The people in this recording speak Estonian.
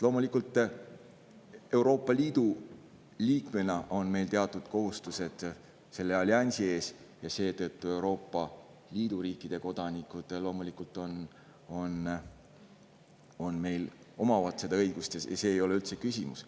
Loomulikult on meil Euroopa Liidu liikmena teatud kohustused selle alliansi ees, seetõttu Euroopa Liidu riikide kodanikud meil omavad seda õigust ja see ei ole üldse küsimus.